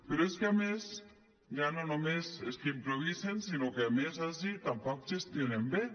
però és que a més ja no només és que improvisen sinó que a més ací tampoc gestionen bé